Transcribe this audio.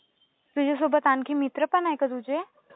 तुझ्यासोबत आणखी मित्र पण आहेत का तुझे?